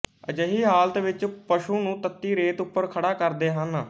ਅਜਿਹੀ ਹਾਲਤ ਵਿਚ ਪਸੂ ਨੂੰ ਤੱਤੀ ਰੇਤ ਉਪਰ ਖੜਾ ਕਰਦੇ ਹਨ